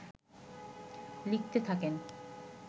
লিখতে থাকেন